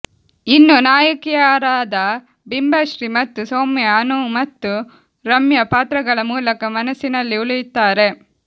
ಇನ್ನು ನಾಯಕಿಯರಾದ ಬಿಂಬಶ್ರೀ ಮತ್ತು ಸೌಮ್ಯ ಅನು ಮತ್ತು ರಮ್ಯಾ ಪಾತ್ರಗಳ ಮೂಲಕ ಮನಸ್ಸಿನಲ್ಲಿ ಉಳಿಯುತ್ತಾರೆ